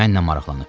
Mənlə maraqlanıb.